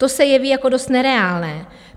To se jeví jako dost nereálné.